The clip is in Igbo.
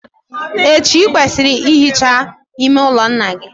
Echi, ị kwesịrị ị hicha ime ụlọ nna gị.